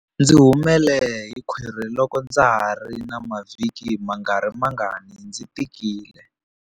Ndzi humele hi khwiri loko ndza ha ri na mavhiki mangarimangani ndzi tikile.